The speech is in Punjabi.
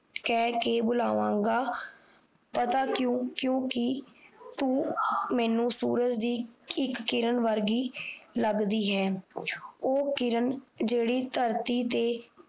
ਕਹਿ ਕ ਬੁਲਾਵਾ ਗਾ ਪਤਾ ਕਿਉ ਕਿਉ ਕਿ ਤੂੰ ਮੈਨੂੰ ਸੂਰਜ ਦੀ ਇੱਕ ਕਿਰਨ ਵਰਗੀ ਲੱਗਦੀ ਹੈ ਉਹ ਕਿਰਨ ਜਿਹੜੀ ਥਰਤੀ ਤੇ